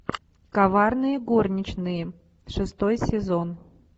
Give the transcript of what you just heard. коварные горничные шестой сезон